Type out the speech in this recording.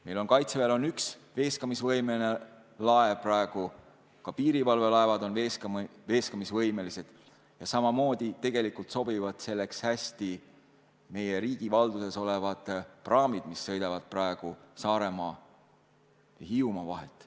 Meie kaitseväel on üks veeskamisvõimeline laev, ka piirivalvelaevad on veeskamisvõimelised ja tegelikult sobivad selleks hästi ka meie riigi valduses olevad praamid, mis sõidavad praegu Saaremaa ja Hiiumaa vahet.